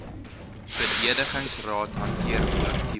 bedingingsraad hanteer kollektiewe